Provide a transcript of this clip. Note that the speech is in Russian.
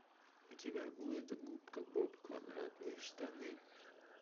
у тебя будет губка боб квадратные штаны